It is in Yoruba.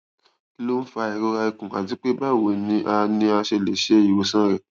kí ló ń fa ìrora ikùn àti pé báwo ni a ni a ṣe lè ṣe ìwòsàn rẹ